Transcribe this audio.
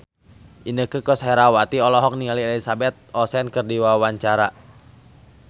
Inneke Koesherawati olohok ningali Elizabeth Olsen keur diwawancara